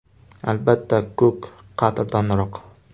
Albatta, ko‘k qadrdonroq.